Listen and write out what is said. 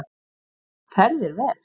Fer þér vel!